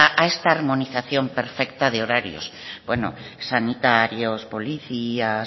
a esta armonización perfecta de horarios bueno sanitarios policías